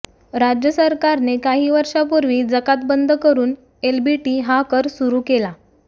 राज्य सरकारने काही वर्षापूर्वी जकात बंद करून एलबीटी हा कर सुरू केला